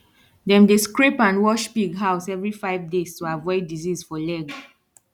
dem dey scrape and wash pig house every five days to avoid disease for leg